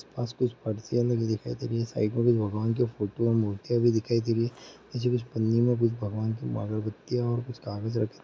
आस-पास कुछ फरसियाँ लगी दिखाई दे रही हैं। साइड में भगवान की फोटो और मूर्तियाँ भी दिखाई दे रही हैं। इसमे कुछ पन्नी में कुछ भगवान की अगरबत्तियाँ और कुछ कागज रखे --